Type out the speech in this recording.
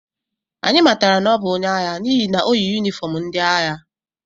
Anyị matara na ọ bụ onye agha n’ihi na o yi yunifọm ndị agha